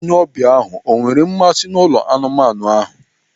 Onye ọbịa ahụ o nwere mmasị n'ụlọ anụmanụ ahụ?